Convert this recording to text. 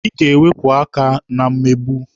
Ị ga-ewepụ aka na mmegbu!